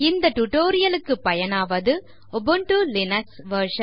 இந்த டியூட்டோரியல் க்கு பயனாவது உபுண்டு லினக்ஸ் வெர்ஷன்